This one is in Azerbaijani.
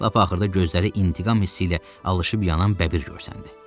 Lap axırda gözləri intiqam hissi ilə alışıb yanan bəbir görsəndi.